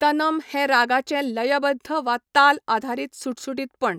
तनम हें रागाचें लयबद्ध वा ताल आधारीत सुटसुटीतपण.